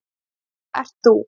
Þetta ert þú.